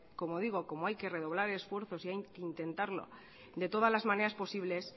como digo como hay que redoblar esfuerzos y hay que intentarlo de todas las maneras posibles